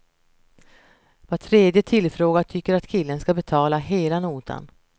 Var tredje tillfrågad tycker att killen ska betala hela notan.